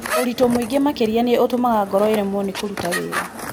Ũritũ mũingĩ makĩria nĩ ũtũmaga ngoro ĩremwo nĩ kũruta wĩra.